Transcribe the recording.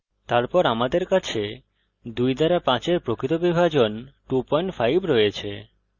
তারপর আমাদের কাছে 2 দ্বারা 5 এর প্রকৃত বিভাজন 25 রয়েছে